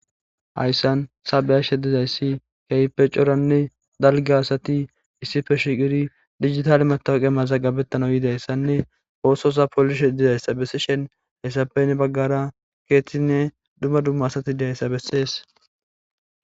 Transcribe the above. Hayssan sabeyashe dizayssi keype coranne dalge asati issife shiqiri digitale matawqe maza gabettana yiidayssanne oososa polishe dizayssa bessishen haayssappeynne baggara keeththinne dumma dumma asati diayssa bessees.